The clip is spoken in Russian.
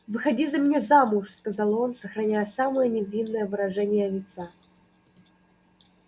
выходи за меня замуж сказал он сохраняя самое невинное выражение лица